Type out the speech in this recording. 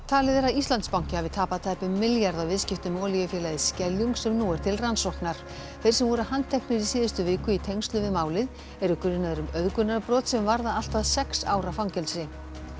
talið er að Íslandsbanki hafi tapað tæpum milljarði á viðskiptum með olíufélagið Skeljung sem nú eru til rannsóknar þeir sem voru handteknir í síðustu viku í tengslum við málið eru grunaðir um auðgunarbrot sem varða allt að sex ára fangelsi